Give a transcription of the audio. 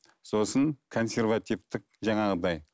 сосын консервативтік жаңағыдай